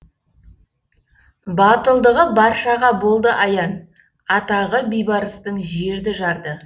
батылдығы баршаға болды аян атағы бейбарыстың жерді жарды